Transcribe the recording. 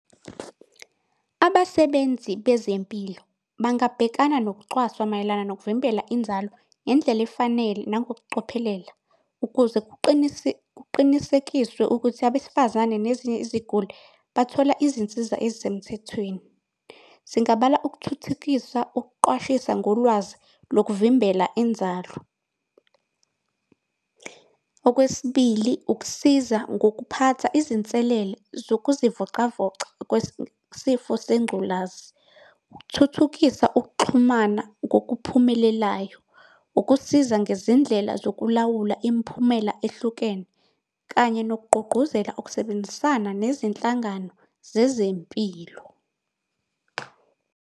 Abasebenzi bezempilo bangabhekana nokucwaswa mayelana nokuvimbela inzalo ngendlela efanele nangokucophelela ukuze kuqinisekiswe ukuthi abesifazane nezinye iziguli bathola izinsiza ezisemthethweni. Singabala ukuthuthukisa ukuqwashisa ngolwazi lokuvimbela inzalo. Okwesibili, ukusiza ngokuphatha izinselelo zokuzivocavoca sengculazi, ukuthuthukisa ukuxhumana ngokuphumelelayo, ukusiza ngezindlela zokulawula imiphumela ehlukene kanye nokugqugquzela ukusebenzisana nezinhlangano zezempilo.